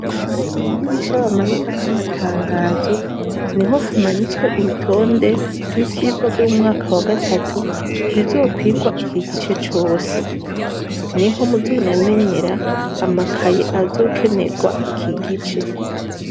Kw' idirisha aho bamanikako amatangazo, niho hamanitswe urutonde rw'ivyigwa vy'umwaka wa gatatu bizokwigwa iki gice cose; niho muzonamenyera amakaye azokenerwa iki gice.